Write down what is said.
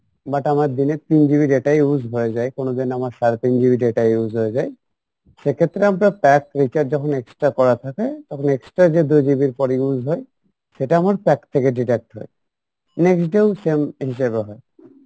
but আমার দিনে তিন GB data use হয়ে যাই, কোনো দিন আমার সাড়ে তিন GB data use হয়ে যাই সেক্ষেত্রে আপনার pack recharge যখন extra করা থাকে তখন extra যে দু GB আপনার use হয় সেটা আপনার pack থেকে deduct হয় next dat এও same হিসেবে হয়